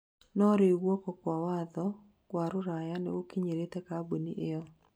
no rĩu guoko kwa watho wa rũraya nigũkinyĩire kamboni ĩyo